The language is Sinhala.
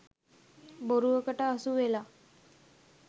බොරුවකට අසුවෙලා